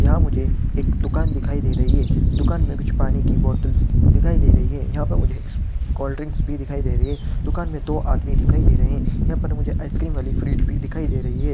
यहां मुझे एक दुकान दिखाई दे रही है। दुकान में कुछ पानी की बॉटल्स दिखाई दे रही है। यह पर मुझे कोल्डड्रिंक्स भी दिखाई दे रही है। दुकान में दो आदमी दिखाई दे रहे है। यहां पर मुझे आइस्क्रीम वाली फ्रिज भी दिखाई दे रही है।